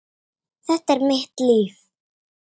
Þetta er mitt líf.